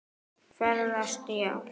Ferðast já.